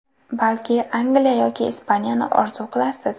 Balki Angliya yoki Ispaniyani orzu qilarsiz?